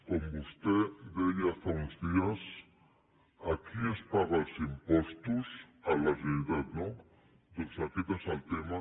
com vostè deia fa uns dies a qui es paga els impostos a la generalitat no doncs aquest és el tema i punt